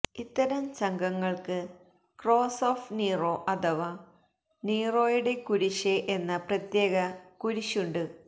ഇത്തരം സംഘങ്ങള്ക്ക് cross of Nero അഥവാ നീറോയുടെ കുരിശ് എന്ന പ്രത്യേക കുരിശുണ്ട്